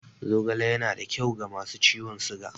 Zogale yana da kyau ga masu ciwon siga.